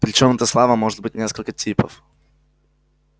причём эта слава может быть несколько типов